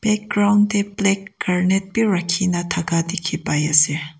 ground te black granite bi rakhi na thaka dikhi pai ase.